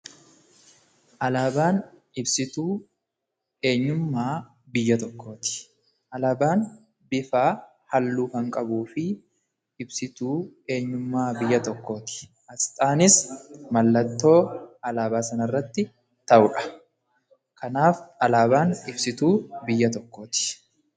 Alaabaan ibsituu eenyummaa biyya tokkooti. Alaabaan bifa halluu kan qabuu fi ibsituu eenyummaa biyya tokkooti. Aasxaanis mallattoo alaabaa sana irratti taa'uudha. Kanaaf alaabaan ibsituu eenyummaa biyya tokkooti.